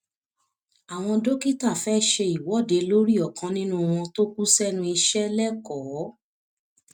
àwọn dókítà fẹẹ ṣe ìwọde lórí ọkan nínú wọn tó kù sẹnu iṣẹ lẹkọọ